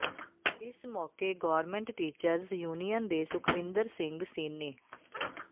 ਇਸ ਮੌਕੇ government teachers union ਦੇ ਸੁਖਵਿੰਦਰ ਸਿੰਘ ਸੀਨੀ